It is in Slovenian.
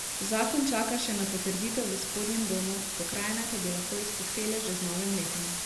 Zakon čaka še na potrditev v spodnjem domu, pokrajine pa bi lahko izpuhtele že z novim letom.